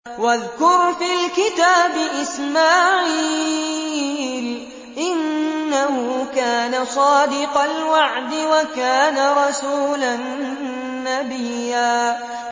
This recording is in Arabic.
وَاذْكُرْ فِي الْكِتَابِ إِسْمَاعِيلَ ۚ إِنَّهُ كَانَ صَادِقَ الْوَعْدِ وَكَانَ رَسُولًا نَّبِيًّا